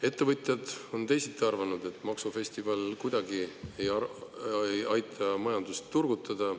Ettevõtjad on teisiti arvanud, et maksufestival kuidagi ei aita majandust turgutada.